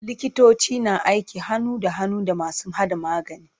Likitoci na aiki hannu da hannu da masu haɗa magani.